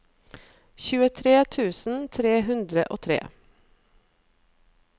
tjuetre tusen tre hundre og tre